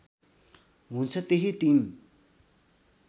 हुन्छ त्यही टिम